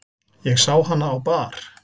Ég sá hana á bar.